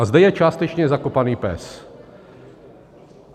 A zde je částečně zakopaný pes.